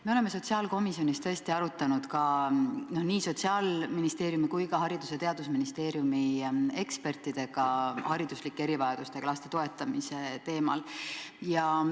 Me oleme sotsiaalkomisjonis tõesti arutlenud nii Sotsiaalministeeriumi kui ka Haridus- ja Teadusministeeriumi ekspertidega hariduslike erivajadustega laste toetamise teemal.